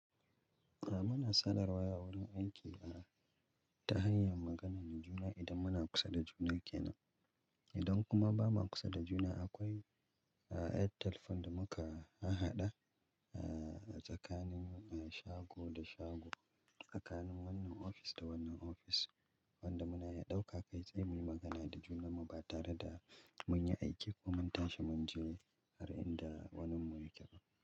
A muna sanarwa a wurin aikina ta hanyar magana da juna idan muna kusa da juna kenan. Idan kuma ba muna kusa da juna akwai, ah, ƴar telephone da muka hahaɗa, ah, tsakanin, eh, shago da shago, tsakanin wannan ofis da wannan ofis wanda muna iya ɗauka kai tsaye muyi magana da juna muba tare da munyi aiki ko mun tashi munje har inda wannin mu yake ba.